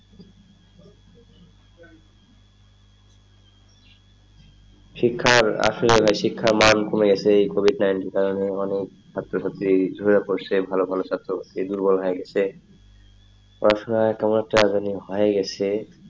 শিক্ষার আসলে শিক্ষার মান কমে গেছে এই কোভিড nineteen কারণে মানে ছাত্র-ছাত্রী ঝরে পরসে ভালো ভালো ছাত্র এই দূর্বল হয়ে গেছে পড়াশোনায় কেমন একটা জানি হয়ে গেছে,